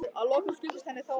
Að lokum skildist henni þó að